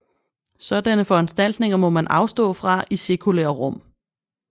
Sådanne foranstaltninger må man afstå fra i sekulære rum